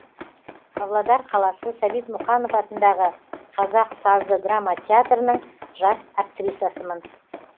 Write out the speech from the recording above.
павлодар қаласы сәбит мұқанов атындағы қазақ сазды драма театрының жас актрисасымын